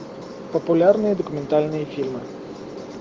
популярные документальные фильмы